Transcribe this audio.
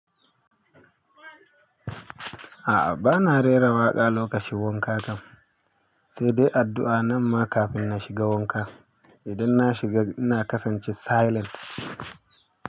A'a, ba na rera waƙa lokacin wanka kam, sai dai addu'a nan ma kafin na shiga wanka. Idan na shiga ina kasance silent.